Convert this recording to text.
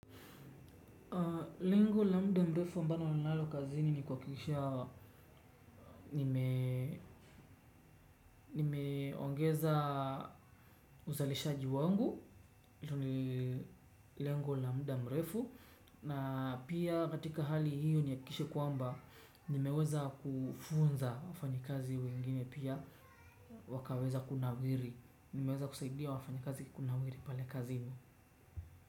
Lengo la muda mrefu ambalo ninalo kazini ni kuhakikisha nimeongeza uzalishaji wangu hilo ni lengo la muda mrefu na pia katika hali hiyo nihakikishe ya kwamba nimeweza kufunza wafanyikazi wengine pia wakaweza kunawiri. Nimeweza kusaidia wafanyikazi kunawiri pale kazini.